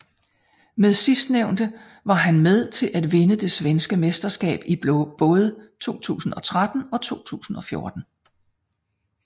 Med sidstnævnte var han med til at vinde det svenske mesterskab i både 2013 og 2014